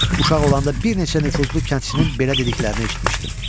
Uşaq olanda bir neçə nüfuzlu kəndçinin belə dediklərini eşitmişdim.